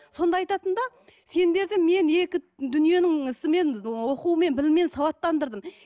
сонда айтатын да сендерді мен екі дүниенің ісімен оқуымен біліммен сауаттандырдым